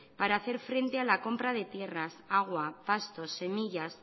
para hacer frente a la compra de tierras agua pastos semillas